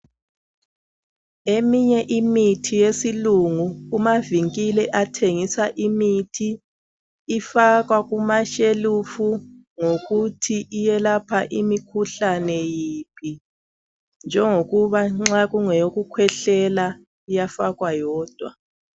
Eminye imithi yesilungu kumavinkile athengisa imithi ifakwa kumashelufu ngokuthi iyelapha imikhuhlane yiphi. Njengokuba nxa kungeyokukhwehlela iyafakwa yodwa.